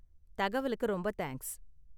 தகவலுக்கு ரொம்ப தேங்க்ஸ்.